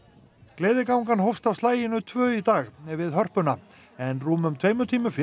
gleðigangan hófst á slaginu tvö í dag við Hörpuna en rúmum tveimur tímum fyrr